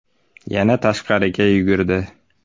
Yana tashqariga yugurdi.